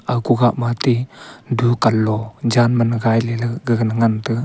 aga ku kha ma ti dukan lo jan ma lagai le gaga ne ngan taiga.